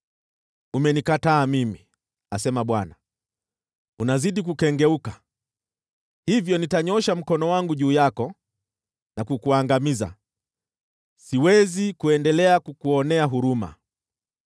Umenikataa mimi,” asema Bwana . “Unazidi kukengeuka. Hivyo nitanyoosha mkono wangu juu yako na kukuangamiza, siwezi kuendelea kukuonea huruma.